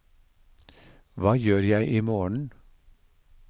hva gjør jeg imorgen